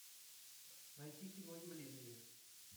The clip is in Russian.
найти кино явление